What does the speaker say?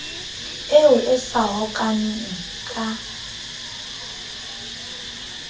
eo e sa hokahaneng ka